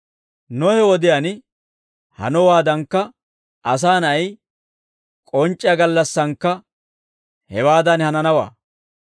«Nohe wodiyaan hanowaadankka, Asaa Na'ay k'onc'c'iyaa gallassankka hewaadan hananawaa.